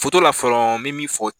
Foto la fɔlɔ bɛ min fɔ.